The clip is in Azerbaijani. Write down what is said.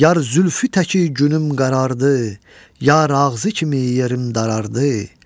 Yar zülfü təki günüm qərardı, yar ağzı kimi yerim daraldı.